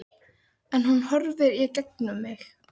Ég má sitja bundinn við hjólastól vegna liðagiktar.